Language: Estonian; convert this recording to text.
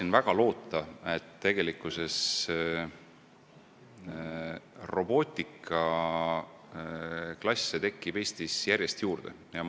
Ma väga loodan, et robootikaklasse tekib Eestis järjest juurde.